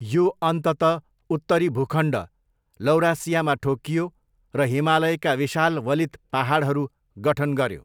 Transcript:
यो अन्ततः उत्तरी भूखण्ड, लौरासियामा ठोक्कियो र हिमालयका विशाल वलित पाहाडहरू गठन गऱ्यो।